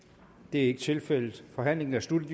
er ikke tilfældet forhandlingen er sluttet